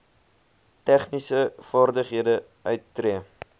tegniese vaardighede uittree